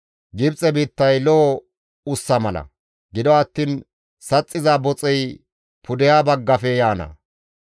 Gibxe biittay lo7o ussa mala; gido attiin saxxiza boxey pudeha baggafe yaana.